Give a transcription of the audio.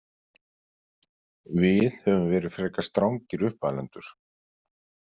Við höfum verið frekar strangir uppalendur.